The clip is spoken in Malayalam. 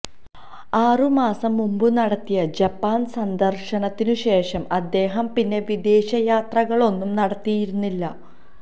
ആറു മാസം മുന്പു നടത്തിയ ജപ്പാന് സന്ദര്ശനത്തിനു ശേഷം അദ്ദേഹം പിന്നെ വിദേശ യാത്രകളൊന്നും നടത്തിയിരുന്നില്ല